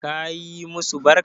Ka yi masu barka?